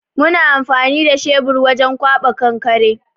Muna amfani da shebir wajen ƙwaɓa kankare.